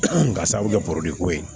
Ka sababu kɛ ko ye